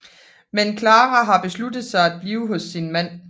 Men Klara har besluttet sig at blive hos sin mand